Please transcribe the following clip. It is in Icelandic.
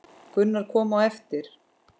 Gunnar kom á eftir.